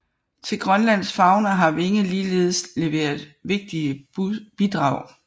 Til Grønlands fauna har Winge ligeledes leveret vigtige bidrag